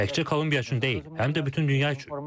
Təkcə Kolumbiya üçün deyil, həm də bütün dünya üçün.